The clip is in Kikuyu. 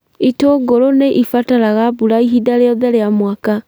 itũngũrũ nĩ ĩbataraga mbura ihinda rĩothe rĩa mwaka.